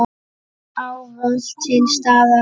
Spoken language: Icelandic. Ávallt til staðar.